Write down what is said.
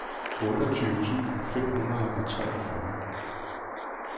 otteogtyve tusind fem hundrede og treogfyrre